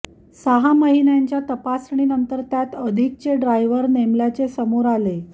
सहा महिन्यांच्या तपासणीनंतर त्यात अधिकचे ड्रायव्हर नेमल्याचे समोर आले